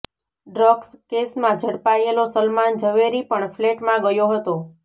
drugs કેસમાં ઝડપાયેલો સલમાન ઝવેરી પણ ફ્લેટમાં ગયો હતો